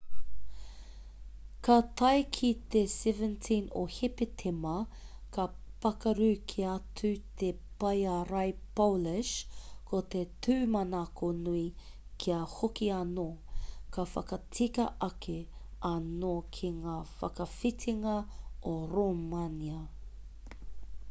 ka tae ki te 17 o hepetema ka pakaru kē atu te pae ārai polish ko te tūmanako nui kia hoki anō ka whakatika ake anō ki ngā whakawhitinga o rōmania